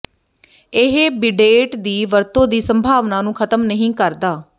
ਇਹ ਬਿਡੇਟ ਦੀ ਵਰਤੋਂ ਦੀ ਸੰਭਾਵਨਾ ਨੂੰ ਖਤਮ ਨਹੀਂ ਕਰਦਾ